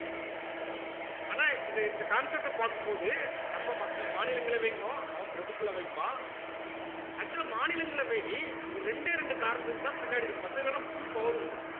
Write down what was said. ஆனா இத இந்த concept அ பார்க்கும் போது நம்ம மக்க~ மாநிலங்களவைங்கும் அவன் பிரபுக்கள் அவைம்பான் actual ஆ மாநிலங்களவை ஒரு இரண்டே ரெண்டு காரணத்துக்குதான் பின்னாடி இருக்கு மத்தது எல்லாம் full power உண்டு